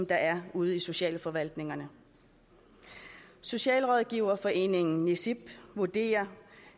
der er ude i socialforvaltningerne socialrådgiverforeningen nisiip vurderer